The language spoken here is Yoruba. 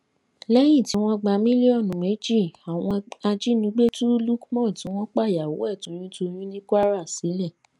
lẹyìn tí wọn gba mílíọnù méjì àwọn ajínigbé tú lukman tí wọn pàyàwò ẹ toyùntọyún ní kwara sílẹ